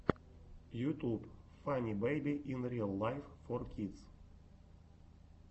ютуб фанни бэйби ин риал лайф фор кидс